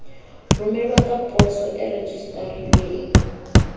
romelwa ka poso e rejistarilweng